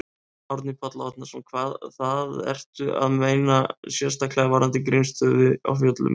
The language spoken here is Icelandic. Árni Páll Árnason: Það, ertu að meina sérstaklega varðandi Grímsstaði á Fjöllum, eða?